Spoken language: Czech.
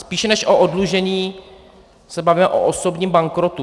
Spíše než o oddlužení se bavíme o osobním bankrotu.